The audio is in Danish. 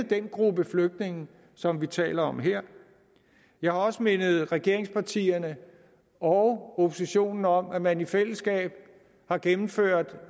den gruppe flygtninge som vi taler om her jeg har også mindet regeringspartierne og oppositionen om at man i fællesskab har gennemført